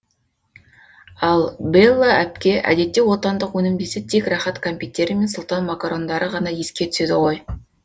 ал бэлла әпке әдетте отандық өнім десе тек рахат кәмпиттері мен сұлтан макарондары ғана еске түседі ғой